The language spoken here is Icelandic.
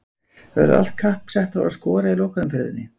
Verður allt kapp sett á að skora í lokaumferðinni?